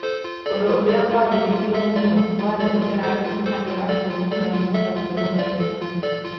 Ũndũ ũrĩa kwarĩrĩrio mũno warĩ ũrĩa andũ arĩa akũrũ mangĩhota kwĩrũgamĩrĩra.